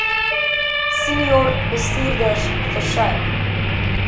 senior bestuurders versuim